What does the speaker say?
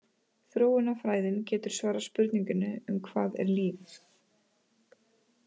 Þróunarfræðin getur svarað spurningunni um hvað er líf?